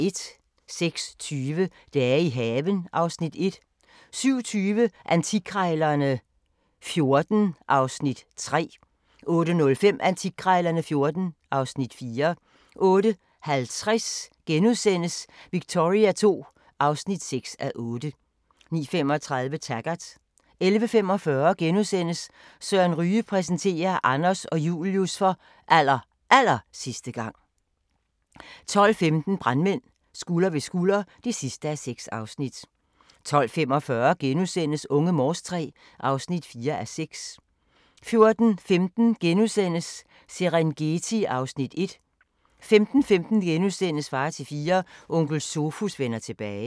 06:20: Dage i haven (Afs. 1) 07:20: Antikkrejlerne XIV (Afs. 3) 08:05: Antikkrejlerne XIV (Afs. 4) 08:50: Victoria II (6:8)* 09:35: Taggart 11:45: Søren Ryge præsenterer: Anders og Julius for allerallersidste gang * 12:15: Brandmænd – Skulder ved skulder (6:6) 12:45: Unge Morse III (4:6)* 14:15: Serengeti (Afs. 1)* 15:15: Far til fire – Onkel Sofus vender tilbage *